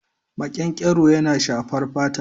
Makenkero yana shafar fata.